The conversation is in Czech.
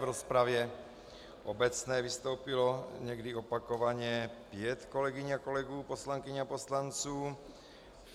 V rozpravě obecné vystoupilo, někdy opakovaně, pět kolegyň a kolegů, poslankyň a poslanců.